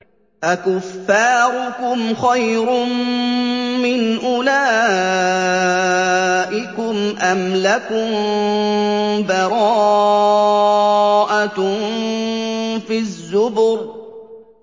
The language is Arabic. أَكُفَّارُكُمْ خَيْرٌ مِّنْ أُولَٰئِكُمْ أَمْ لَكُم بَرَاءَةٌ فِي الزُّبُرِ